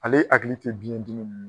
Ale hakili tɛ bin dimi.